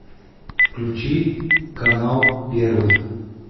включи канал первый